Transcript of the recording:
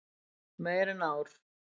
Meira en ár.